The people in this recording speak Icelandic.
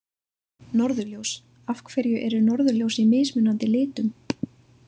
Norðurljós Af hverju eru norðurljós í mismunandi litum?